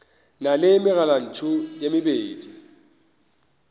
na le megalantšu e mebedi